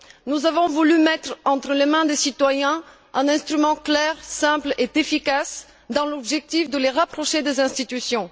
Nous avons voulu mettre entre les mains des citoyens un instrument clair, simple et efficace dans l'objectif de les rapprocher des institutions.